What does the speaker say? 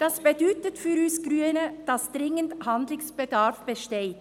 Das bedeutet für uns Grüne, dass dringender Handlungsbedarf besteht.